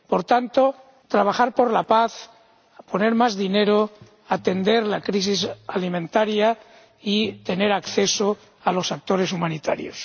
Por tanto, trabajar por la paz, poner más dinero, atender la crisis alimentaria y tener acceso a los actores humanitarios.